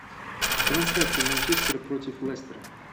трансляция манчестера против лестера